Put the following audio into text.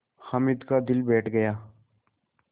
हामिद का दिल बैठ गया